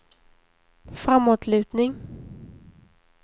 framåtlutning